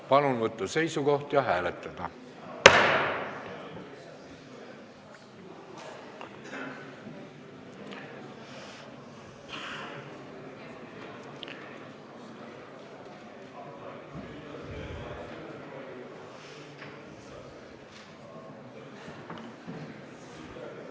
Palun võtta seisukoht ja hääletada!